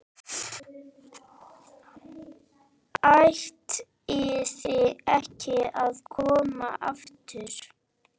ÆTLIÐI EKKI AÐ KOMA AFTUR.